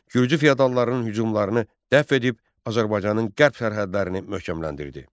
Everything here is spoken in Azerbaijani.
Gürcü feodallarının hücumlarını dəf edib Azərbaycanın qərb sərhədlərini möhkəmləndirdi.